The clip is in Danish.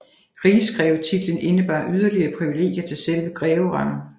Rigsgrevetitlen indebar yderligere privilegier til selve greverangen